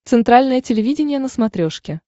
центральное телевидение на смотрешке